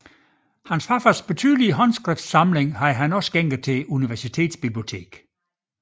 Sin farfars betydelige håndskriftsamling havde han også skænket universitetsbiblioteket